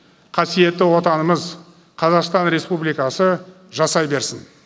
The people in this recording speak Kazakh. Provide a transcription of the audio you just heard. қасиетті отанымыз қазақстан республикасы жасай берсін